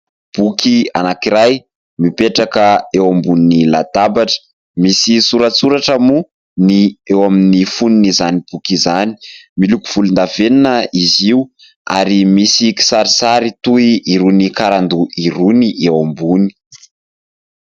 Boky anankiray mipetraka eo ambonin'ny latabatra misy soratsoratra moa ny eo amin'ny fonon'izany boky izany. Miloko volondavenona izy io ary misy kisarisary toy irony karandoha irony eo ambony.